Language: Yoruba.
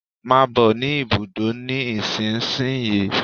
Come to the bus stop now